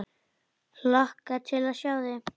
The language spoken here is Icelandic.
Hlakka til að sjá þig.